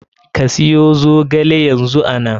Ka siyo zogale yanzu ana.